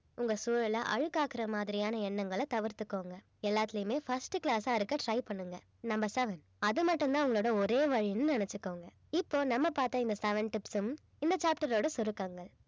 உங்க சூழ்நிலை அழுக்காக்குற மாதிரியான எண்ணங்களை தவிர்த்துக்கோங்க எல்லாத்துலயுமே first class ஆ இருக்க try பண்ணுங்க number seven அது மட்டும் தான் உங்களோட ஒரே வழின்னு நினைச்சுக்கோங்க இப்போ நம்ம பார்த்த இந்த seven tips ம் இந்த chapter ஓட சுருக்கங்கள்